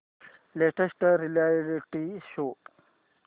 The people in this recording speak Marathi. latest reality show